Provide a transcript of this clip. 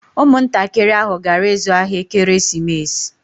Ụmụntakịrị ahụ gara ịzụ ahịa ekeresimesi